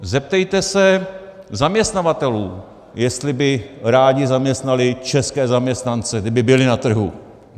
Zeptejte se zaměstnavatelů, jestli by rádi zaměstnali české zaměstnance, kdyby byli na trhu.